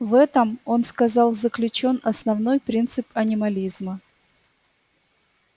в этом он сказал заключён основной принцип анимализма